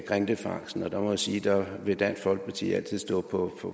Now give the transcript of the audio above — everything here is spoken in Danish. grindefangsten og jeg må sige at der vil dansk folkeparti altid stå på